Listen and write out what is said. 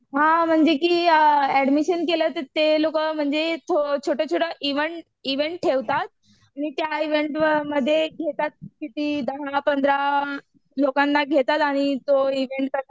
हां म्हणजे की ऍडमिशन केलं तर ते लोकं म्हणजे छोटे छोटे इव्हेंट इव्हेंट ठेवतात. आणि त्या इव्हेन्टमध्ये घेतात किती दहा पंधरा लोकांना घेतात आणि तो इव्हेंट